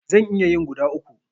Zan iya yin guda uku.